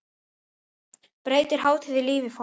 Breytir hátíðin lífi fólks?